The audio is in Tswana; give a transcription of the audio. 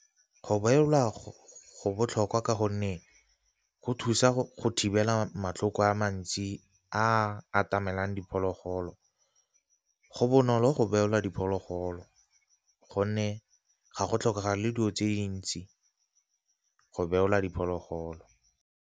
Go beola go botlhokwa ka gonne go thusa go thibela matlhoko a mantsi a atamelang diphologolo. Go bonolo go beola diphologolo gonne ga go tlhokega le dilo tse dintsi go beola diphologolo.